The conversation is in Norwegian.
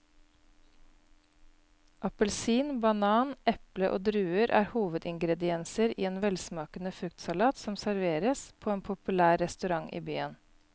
Appelsin, banan, eple og druer er hovedingredienser i en velsmakende fruktsalat som serveres på en populær restaurant i byen.